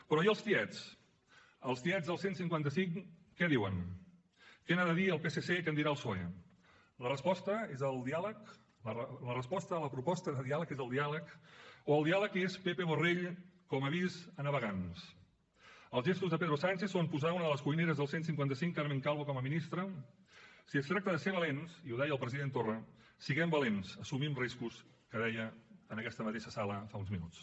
però i els tiets els tiets del cent i cinquanta cinc què diuen què n’ha de dir el psc què en dirà el psoe la resposta és el diàleg la resposta a la proposta de diàleg és el diàleg o el diàleg és pepe borrell com a avís a navegants els gestos de pedro sánchez són posar una de les cuineres del cent i cinquanta cinc carmen calvo com a ministra si es tracta de ser valents i ho deia el president torra siguem valents assumim riscos que deia en aquesta mateixa sala fa uns minuts